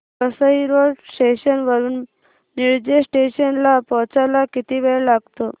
Vasai road station वरून Nilje station ला पोहचायला किती वेळ लागतो